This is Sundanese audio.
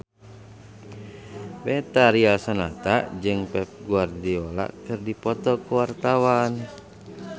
Betharia Sonata jeung Pep Guardiola keur dipoto ku wartawan